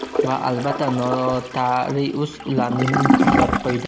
Va albatta notarius ularni nikohlab qo‘ydi.